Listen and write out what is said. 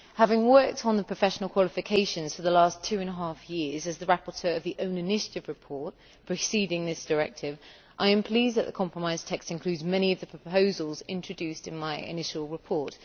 Having worked on professional qualifications for the last two and a half years as the rapporteur of the own initiative report preceding this directive, I am pleased that the compromise text includes many of the proposals introduced in my initial report.